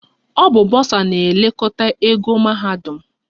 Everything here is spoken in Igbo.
Ọ bụ bọsa na-elekọta ego mahadum